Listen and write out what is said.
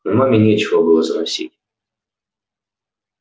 но маме нечего было заносить